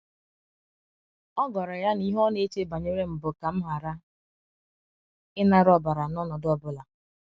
ọ gwara ya na ihe ọna eche banyerem bụ kam hara ịnara ọbara n’ọnọdụ ọ bụla.